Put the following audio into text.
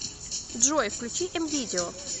джой включи эм видео